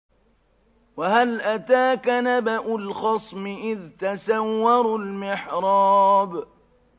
۞ وَهَلْ أَتَاكَ نَبَأُ الْخَصْمِ إِذْ تَسَوَّرُوا الْمِحْرَابَ